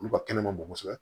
Olu ka kɛnɛ ma bon kosɛbɛ